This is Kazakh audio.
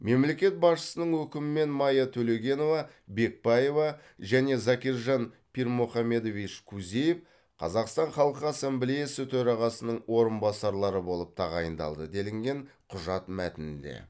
мемлекет басшысының өкімімен майя төлегенова бекбаева және закиржан пирмухамедович кузиев қазақстан халқы ассамблеясы төрағасының орынбасарлары болып тағайындалды делінген құжат мәтінінде